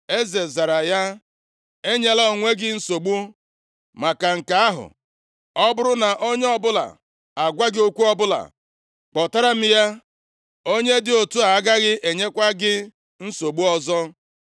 Eze zara ya, “Enyela onwe gị nsogbu maka nke ahụ. Ọ bụrụ na onye ọbụla agwa gị okwu ọbụla, kpọtara m ya. Onye dị otu a agaghị enyekwa gị nsogbu ọzọ.”